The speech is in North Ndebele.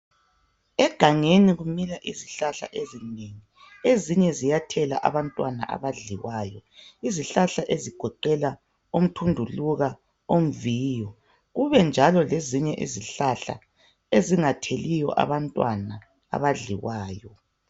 Egangeni kumila izihlahla ezinengi ezinye ziyathela abantwana abadliwayo. Izihlahla ezigoqela omthunduluka, omviyo kube njalo lezinye izihlahla ezingatheliyo abantwana abadliwayo.